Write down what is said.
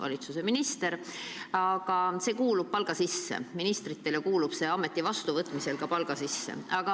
See kõik aga kuulub palga sisse – ministrid teavad seda, kui ameti vastu võtavad.